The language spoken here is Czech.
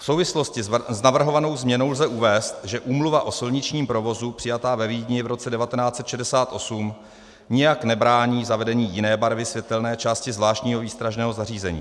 V souvislosti s navrhovanou změnou lze uvést, že úmluva o silničním provozu přijatá ve Vídni v roce 1968 nijak nebrání zavedení jiné barvy světelné části zvláštního výstražného zařízení.